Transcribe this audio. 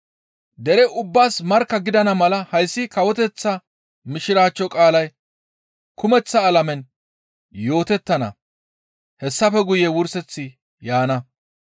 Dere ubbaas markka gidana mala hayssi kawoteththa Mishiraachcho qaalay kumeththa alamen yootettana; hessafe guye wurseththi yaana.